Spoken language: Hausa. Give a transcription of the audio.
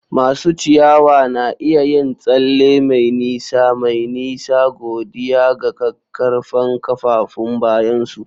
Masu ciyawa na iya yin tsalle mai nisa mai nisa godiya ga ƙaƙƙarfan kafafun bayansu.